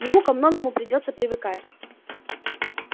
ему ко многому придётся привыкать